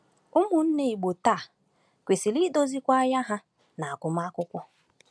Ụmụnne Igbo taa kwesịrị idozikwa anya ha n’agụmakwụkwọ.